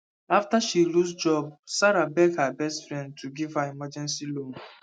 after she lose job sarah beg her best friend to give her emergency loan